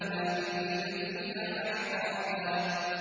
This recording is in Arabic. لَّابِثِينَ فِيهَا أَحْقَابًا